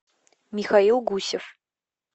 михаил гусев